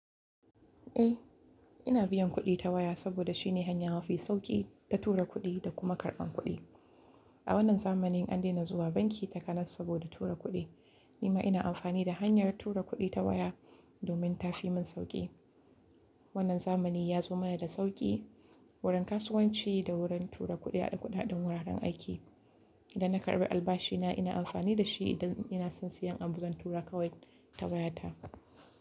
Eh, ina biyan kuɗi ta waya saboda shine hanyar hafi sauƙi ta tura kuɗi da kuma karɓan kuɗi. A wannan zamanin an daina zuwa banki takanas saboda tura kuɗi, nima ina amfani da hanyar tura kuɗi ta waya domin ta fi mun sauƙi. Wannan zamani ya zo mana da sauƙi wurin kasuwanci da wurin tura kuɗi a duk faɗin wuraren aiki. Idan na karɓi albashi na, ina amfani da shi idan ina son siyan abu zan tura kawai ta wayata.